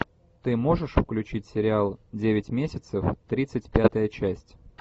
ты можешь включить сериал девять месяцев тридцать пятая часть